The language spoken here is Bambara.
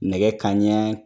Nɛgɛ kanɲɛ